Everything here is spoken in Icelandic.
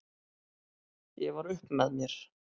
Ég var upp með mér!